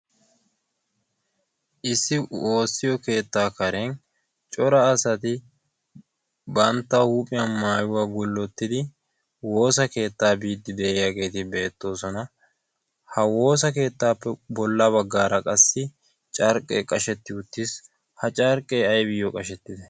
issi woossiyo keettaa karen cora asati bantta huuphiyan maayuwaa gullottidi woosa keettaa biiddi de'iyaageeti beettoosona. ha woosa keettaappe bolla baggaara qassi carqqee qashetti uttiis ha carqqee aybayo qashettide?